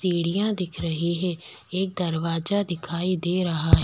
सीढ़ियां दिख रही है एक दरवाजा दिखाई दे रहा है।